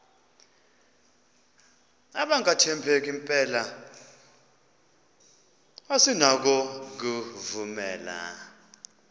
abangathembeki mpela asinakubovumela